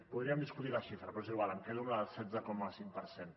podríem discutir la xifra però és igual em quedo amb la del setze coma cinc per cent